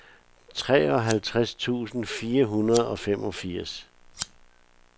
treoghalvtreds tusind fire hundrede og femogfirs